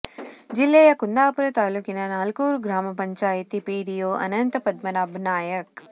ಜಿಲ್ಲೆಯ ಕುಂದಾಪುರ ತಾಲೂಕಿನ ನಾಲ್ಕೂರು ಗ್ರಾಮ ಪಂಚಾಯತಿ ಪಿಡಿಓ ಅನಂತ ಪದ್ಮನಾಭ ನಾಯಕ್